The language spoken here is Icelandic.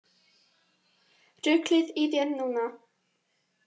Ruglið í þér núna!